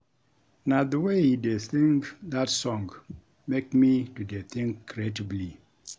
Na the way he dey sing dat song make me to dey think creatively